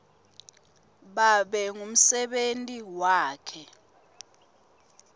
babe ngumsebenti wakhe